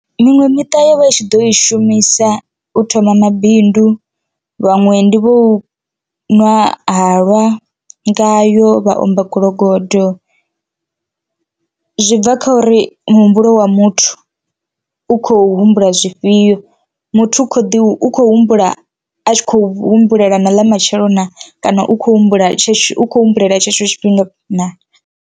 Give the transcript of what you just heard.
Miṅwe miṱa yo vha i tshi ḓo i shumisa u thoma mabindu vhaṅwe ndi vhu nwa halwa ngayo vha omba gologodo, zwi bva kha uri ri muhumbulo wa muthu u khou humbula zwifhio muthu u kho ḓi u khou humbula a tshi khou humbulela na ḽa matshelo naa kana u khou humbula tshetsho ukho humbulela tshetsho tshifhinga naa.